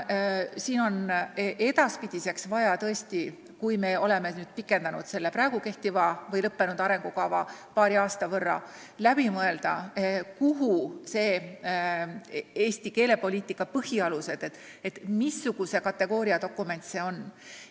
Edaspidi, kui me oleme pikendanud seda lõppenud arengukava paari aasta võrra, on vaja läbi mõelda, kuhu ikkagi on kirja pandud Eesti keelepoliitika põhialused – mis kategooria dokument see on.